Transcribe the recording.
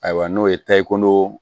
Ayiwa n'o ye tayikoo